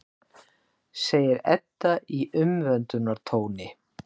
segir Edda í umvöndunartóni.